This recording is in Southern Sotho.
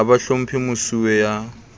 ha ba hlomphe mosuwe ya